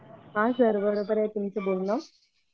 हा सर बरोबर आहे तुमचं बोलणं